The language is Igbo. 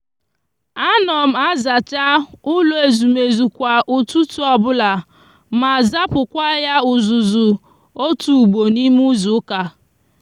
a no m azacha ulo ezumezu kwa ututu obulama zapukwa ya uzuzu otu ugbo n'ime izuuka